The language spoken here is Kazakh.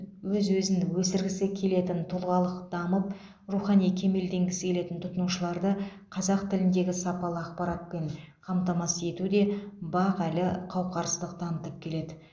өз өзін өсіргісі келетін тұлғалық дамып рухани кемелденгісі келетін тұтынушыларды қазақ тіліндегі сапалы ақпаратпен қамтамасыз етуде бақ әлі қауақарсыздық танытып келеді